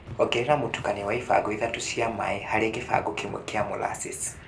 Ongerera mũtukanio wa ibango ithatũ cia maĩĩ harĩ gibango kĩmwe kia molassesi